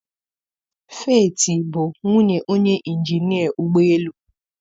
Feeti bụ nwunye onye injinia ụgbọ elu.